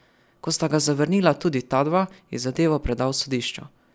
Ko sta ga zavrnila tudi ta dva, je zadevo predal sodišču.